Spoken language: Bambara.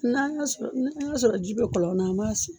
N'a y'a sɔrɔ ji bɛ kɔlɔn na, an b'a sɔn.